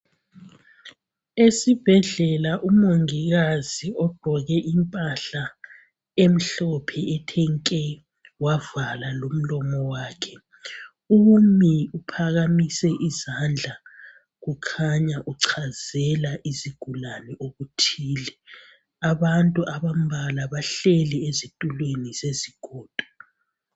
Esibhedlela umongikazi ogqoke impahla emhlophe ethi nke wavala lomlomo wakhe umi uphakamisa izandla kukhanya uchazela izigulani okuthile abantu abambala bahleli ezitulweni zezigodo.